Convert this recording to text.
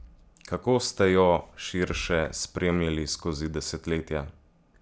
Kako ste jo, širše, spremljali skozi desetletja?